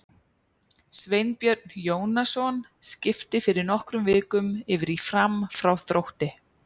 Sveinbjörn Jónasson skipti fyrir nokkrum vikum yfir í Fram frá Þrótti.